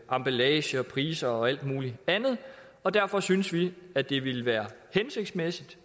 emballage og priser og alt muligt andet og derfor synes vi at det ville være hensigtsmæssigt